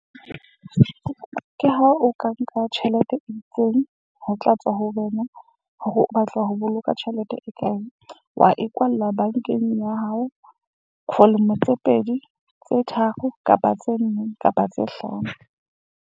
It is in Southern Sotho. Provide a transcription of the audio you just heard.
Ke ha o ka nka tjhelete e itseng, ho tla tswa ho wena hore o batla ho boloka tjhelete e kae. Wa e kwalla bankeng ya hao for lemo tse pedi, tse tharo kapa tse nne kapa tse hlano.